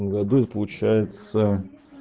году и получается